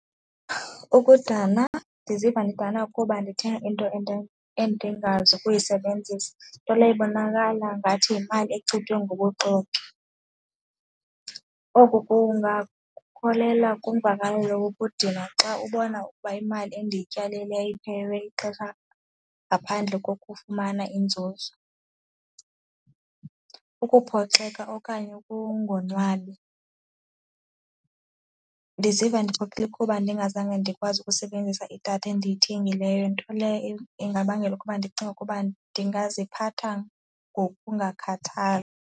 Ukudana, ndiziva ndidana kuba ndithenge into endingazukuyisebenzisa, nto leyo ibonakala ngathi yimali echithwe ngobuxoki. Oku kungakholela kwimvakalelo yokudinwa xa ubona ukuba imali endiyityalileyo iphelelwe lixesha ngaphandle kokufumana inzuzo. Ukuphoxeka okanye ukungonwabi. Ndiziva ndiphoxekile kuba ndingazange ndikwazi ukusebenzisa idatha endiyithengileyo nto leyo ingabangela ukuba ndicinge ukuba ndingaziphatha ngokungakhathali.